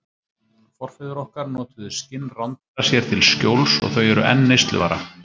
Forfeður okkar notuðu skinn rándýra sér til skjóls og þau eru enn neysluvara.